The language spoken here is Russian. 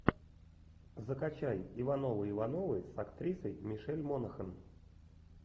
закачай ивановы ивановы с актрисой мишель монахэн